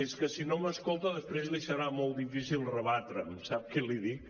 és que si no m’escolta després li serà molt difícil rebatre’m sap què li dic